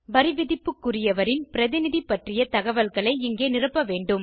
வரிவிதிப்புக்குரியவரின் பிரதிநிதி பற்றிய தகவல்களை இங்கே நிரப்ப வேண்டும்